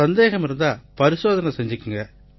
சந்தேகம் இருந்தா பரிசோதனை செய்துக்குங்க